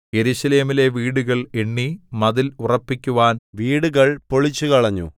യെരൂശലേമിലെ വീടുകൾ എണ്ണി മതിൽ ഉറപ്പിക്കുവാൻ വീടുകൾ പൊളിച്ചുകളഞ്ഞു